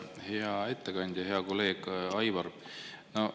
Hea ettekandja, hea kolleeg Aivar!